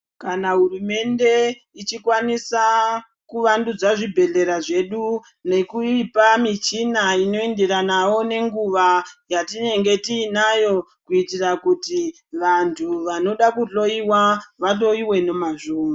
Kana hurumende ichikwanisa kuvandudza zvibhedhlera zvedu nekuipa michina inoenderanawo nenguva yetienge tiinayo kuitira vantu vanoda kuhloyiwa vahloyiwe nemazvo.